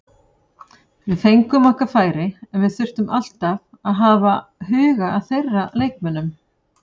Við fengum okkar færi en við þurftum alltaf að hafa huga að þeirra leikmönnum.